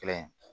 Kelen